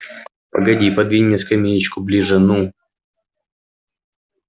погоди подвинь мне скамеечку ближе ну